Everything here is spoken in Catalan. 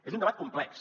és un debat complex